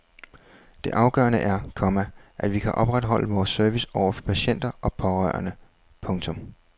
Det afgørende er, komma at vi kan opretholde vores service over for patienter og pårørende. punktum